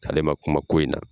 Ale ma kuma ko in na!